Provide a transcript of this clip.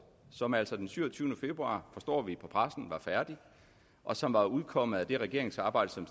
som altså den syvogtyvende februar forstår vi på pressen og som var udkommet af det regeringsarbejde som